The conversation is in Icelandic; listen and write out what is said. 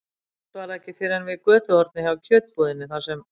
Samt var það ekki fyrr en við götuhornið hjá kjötbúðinni, þar sem